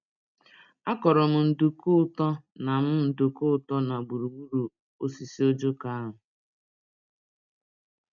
A kọrọ m nduku-ụtọ na m nduku-ụtọ na gburugburu osisi ojoko ahụ.